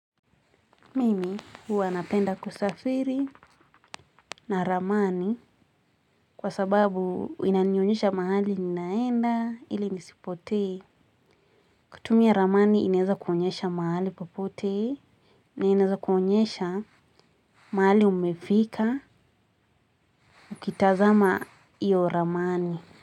Mimi huwa napenda kusafiri na ramani kwa sababu inanionyesha mahali ninaenda ili nisipotee. Kutumia ramani inaeza kuonyesha mahali popote na inaeza kuonyesha mahali umefika. Ukitazama hiyo ramani.